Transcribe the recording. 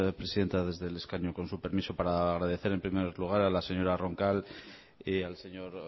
presidenta desde el escaño con su permiso para agradecer en primer lugar a la señora roncal y al señor